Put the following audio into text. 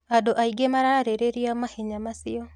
Andũ aingĩ mararĩrĩria mahenya macio.